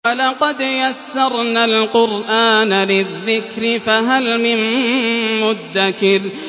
وَلَقَدْ يَسَّرْنَا الْقُرْآنَ لِلذِّكْرِ فَهَلْ مِن مُّدَّكِرٍ